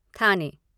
थाने